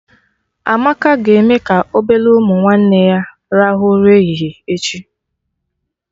Amaka ga-eme ka obele ụmụ nwanne ya rahụ ụra ehihie echi